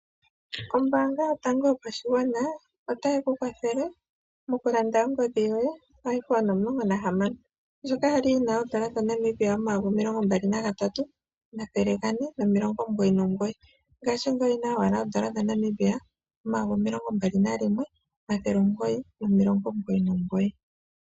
Ombaanga yotango yopashigwana otayi ku kwathele mokulanda ongodhi yoye iPhone omulongo nahamano ndjoka yali yi na oodola dha Namibia omayovi omilongo mbali nagatatu, omathele gane nomilongo omugoyi nomugoyi ngaashingeyi oyi na owala oodola dha Namibia omayovi omilongo mbali nalimwe, omathele omugoyi nomilongo omugoyi nomugoyi.